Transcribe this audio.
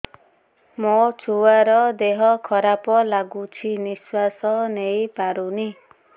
ମୋ ଛୁଆର ଦିହ ଖରାପ ଲାଗୁଚି ନିଃଶ୍ବାସ ନେଇ ପାରୁନି